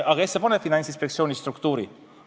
Aga kes paneb paika Finantsinspektsiooni struktuuri?